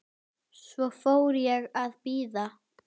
Svo fór ég að bíða.